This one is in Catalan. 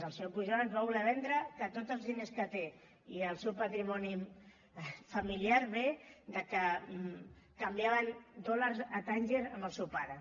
el senyor pujol ens va voler vendre que tots els diners que té i el seu patrimoni familiar ve que canviaven dòlars a tànger amb el seu pare